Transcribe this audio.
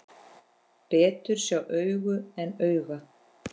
Betur sjá augu en auga.